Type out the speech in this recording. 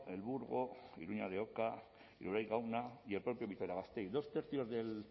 elburgo iruña de oca iruraiz gauna y el propio vitoria gasteiz dos tercios del